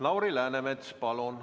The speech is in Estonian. Lauri Läänemets, palun!